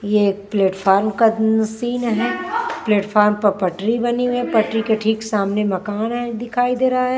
ये प्लेटफार्म का सीन है प्लेटफार्म पर पटरी बनी हुई है पटरी के ठीक सामने मकान है दिखाई दे रहा है --